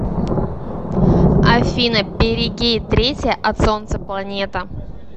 афина перигей третья от солнца планета